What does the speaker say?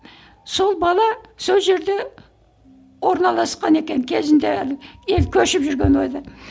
сол бала сол жерде орналасқан екен кезінде ел көшіп жүрген ойда